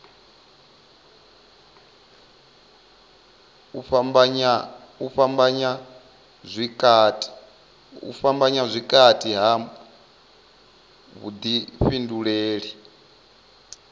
u fhambanya vhukati ha vhuḓifhinduleli